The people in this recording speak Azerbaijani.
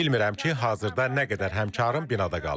Bilmirəm ki, hazırda nə qədər həmkarım binada qalıb.